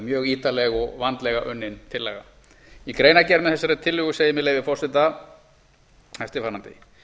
mjög ítarleg og vandlega unnin tillaga í greinargerð með þessari tillögu segir með leyfi forseta eftirfarandi